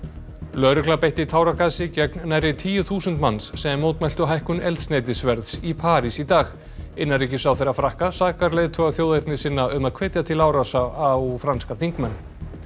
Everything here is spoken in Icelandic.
lögregla beitti táragasi gegn nærri tíu þúsund manns sem mótmæltu hækkun eldsneytisverðs í París í dag innanríkisráðherra Frakka sakar leiðtoga þjóðernissinna um að hvetja til árása á franska þingmenn